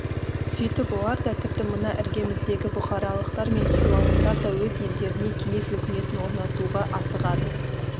сөйтіп олар да тіпті мына іргеміздегі бұхаралықтар мен хиуалықтар да өз елдерінде кеңес өкіметін орнатуға асығады